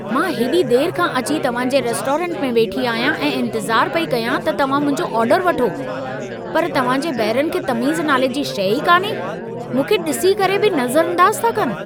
मां हेॾी देर खां अची तव्हां जे रेस्टोरेंट में वेठी आहियां ऐं इंतज़ार पई कयां त तव्हां मुंहिंजो ऑर्डर वठो। पर तव्हां जे बहिरनि खे तमीज़ नाले जी शै ई कान्हे। मूंखे ॾिसी करे बि नज़रअंदाज़ था कनि